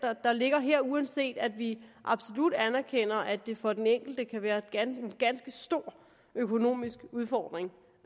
der ligger her uanset at vi absolut anerkender at det for den enkelte kan være en ganske stor økonomisk udfordring